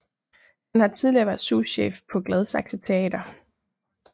Han har tidligere været souschef på Gladsaxe Teater